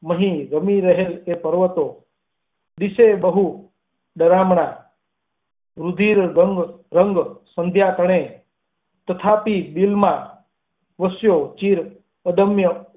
ની મહી રમી રહેલ એ પર્વતો વિશે બહુ રળિયામણાં રુધિરે ડગ રંગ સંધ્યા તણી તથાપિ દિલમાં વો ચિર અદમ્ય.